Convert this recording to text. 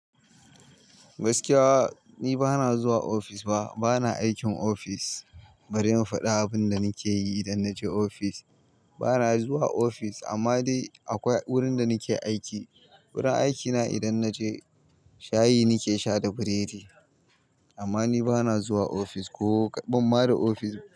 Gaskiya ni bana zuwa ofis fa, bana aikin ofis bari in faɗa abin da nake yi idan naje ofis. Bana zuwa ofis amma dai akwai wurin da nike aiki. Wurin aikina idan naje shayi nake sha da burodi. Amma ni bana zuwa ofis ko bana ma da ofis.